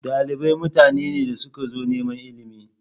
Dalibai mutane ne da suka zo neman ilimi.